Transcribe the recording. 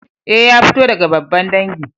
Eh, ya fito daga babban dangi.